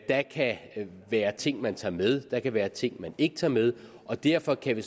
der kan være ting man tager med der kan være ting man ikke tager med og derfor kan vi